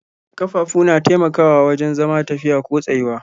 Ƙafafu na taimakawa wajen zama, tafiya ko tsayuwa.